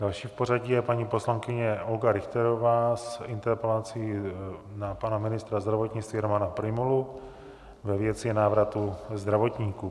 Další v pořadí je paní poslankyně Olga Richterová s interpelací na pana ministra zdravotnictví Romana Prymulu ve věci návratu zdravotníků.